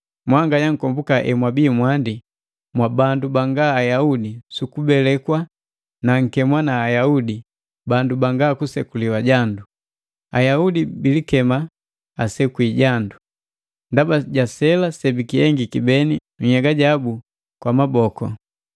Mwanganya nkombuka emwabii mwandi mwabandu banga Ayaudi sukubelekwa na nkemwa na Ayaudi, “Bandu banga kusekuliwa jandu,” Ayaudi bilikema, “Asekwi jandu,” ndaba ja sela sebikihengiki beni nhyega yabu kwa maboku.